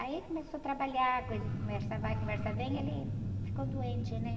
Aí começou a trabalhar, coisa, conversar vai, conversar vem, ele ficou doente, né?